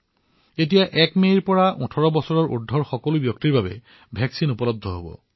এতিয়া ১ মেৰ পৰা দেশৰ ১৮ বছৰৰ অধিক বয়সৰ সকলোৰে বাবে প্ৰতিষেধক উপলব্ধ হব